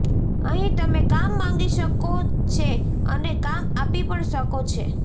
અહીં તમે કામ માંગી શકો છે અને કામ આપી પણ શકો છો